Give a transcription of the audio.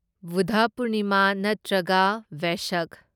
ꯕꯨꯗꯙ ꯄꯨꯔꯅꯤꯃꯥ ꯅꯠꯇ꯭ꯔꯒ ꯚꯦꯁꯛ